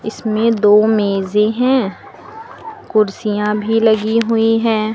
इसमें दो मेजे हैं कुर्सियां भी लगी हुई हैं।